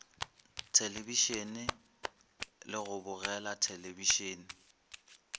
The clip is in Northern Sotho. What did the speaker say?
thelebišene le go bogela thelebišene